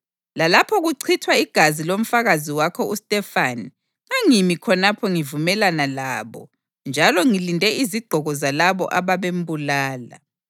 Lalapho kuchithwa igazi lomfakazi wakho uStefane ngangimi khonapho ngivumelana labo njalo ngilinde izigqoko zalabo ababembulala.’